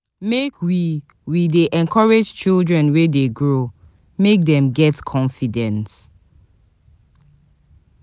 Make we we dey encourage children wey dey grow, make dem get confidence.